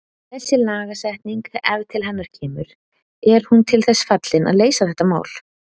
Þessi lagasetning ef til hennar kemur, er hún til þess fallin að leysa þetta mál?